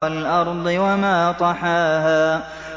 وَالْأَرْضِ وَمَا طَحَاهَا